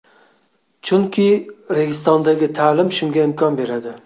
Chunki Registon’dagi ta’lim shunga imkon beradi.